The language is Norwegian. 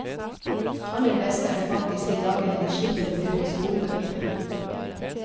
Aller best er det faktisk de dagene de slipper å bruke skolebøkene.